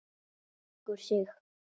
Leggur sig.